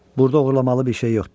Burda oğurlamalı bir şey yoxdur.